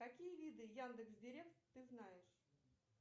какие виды яндекс директ ты знаешь